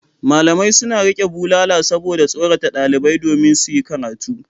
Malamai suna riƙe bulala saboda tsorata ɗalibai domin su yi karatu.